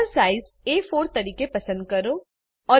paper size A4 તરીકે પસંદ કરો